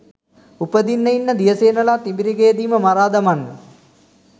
උපදින්න ඉන්න දියසේනලා තිඹිරගෙයදීම මරා දමන්න